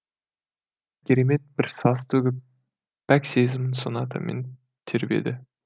керемет бір саз төгіп пәк сезімін сонатамен тербеді